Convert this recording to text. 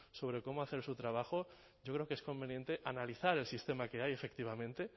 sobre cómo hacer su trabajo yo creo que es conveniente analizar el sistema que hay efectivamente